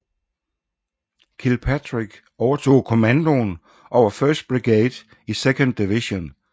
Kilpatrick overtog kommandoen over 1st brigade i 2nd division